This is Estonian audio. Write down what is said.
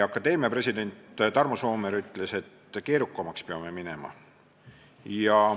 Akadeemia president Tarmo Soomere ütles, et me peame keerukamaks minema.